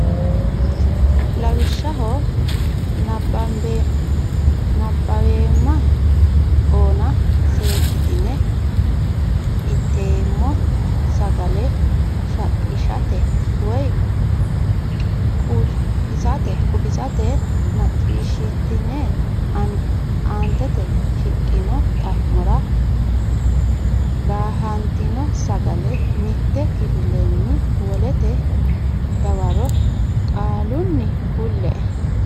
Lawishshaho nabbaweemma ona seekkitine inteemmo sagale shaqqishate woy qufisate macciishshitine aantete shiqqino xa mora daahantino sagale mitte kifilenni wolete dawaro qaalunni kulle.